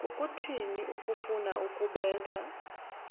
kukuthini ukufuna ukubetha